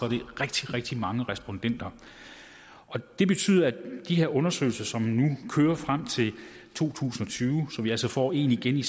rigtig rigtig mange respondenter det betyder at vi med de her undersøgelser som vi nu kører frem til to tusind og tyve hvor vi altså får en igen i